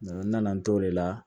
N nana n t'o de la